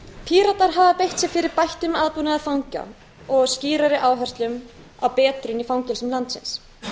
píratar hafa beitt sér fyrir bættum aðbúnaði fanga og skýrari áherslum á betrun í fangelsum landsins